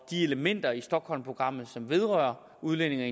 de elementer i stockholmprogrammet som vedrører udlændinge og